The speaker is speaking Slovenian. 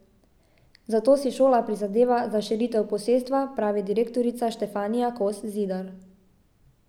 Zato si šola prizadeva za širitev posestva, pravi direktorica Štefanija Kos Zidar.